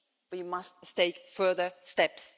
We must take further steps.